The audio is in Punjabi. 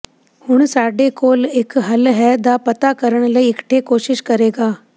ਹੁਣ ਸਾਡੇ ਕੋਲ ਇੱਕ ਹੱਲ ਹੈ ਦਾ ਪਤਾ ਕਰਨ ਲਈ ਇਕੱਠੇ ਕੋਸ਼ਿਸ਼ ਕਰੇਗਾ